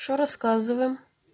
что рассказываем